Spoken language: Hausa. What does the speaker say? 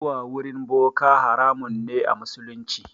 Zuwa wurin boka haramun ne a musulunci.